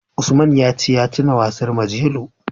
Usman ya ce ya tuna wasan Majelo.